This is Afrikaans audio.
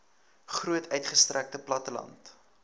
groot uitgestrekte platteland